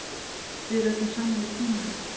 Við ræddum saman í trúnaði.